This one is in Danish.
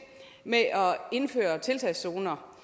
med at indføre tiltagszoner